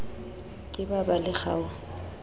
ke ba ba le kgaoho